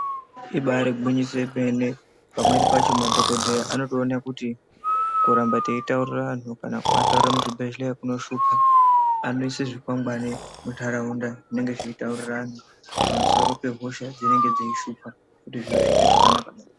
Ibaari gwinyiso yemene, pamweni pacho madhokodheya anotoone kuti ,kuramba teitaurire anhu ,kana kuataurire muzvibhedhleya kunoshupa, anoise zvikwangani muntaraunda, zvinenge zveitaurire antu pamusoro pehosha dzinenge dzeishupha kuti zviro zviite zvakanaka.